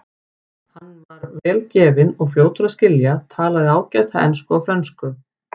Hann var vel gefinn og fljótur að skilja, talaði ágætlega ensku og frönsku.